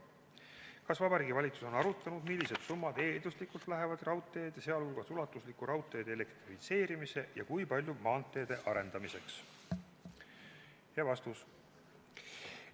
Kas Vabariigi Valitsus on arutanud, millised summad eelduslikult lähevad raudteede, sh ulatusliku raudteede elektrifitseerimise, ja kui palju maanteede arendamiseks?